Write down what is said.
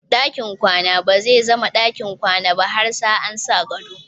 Ɗakin kwana bazai zama ɗakin kwana ba har sa an sa gado.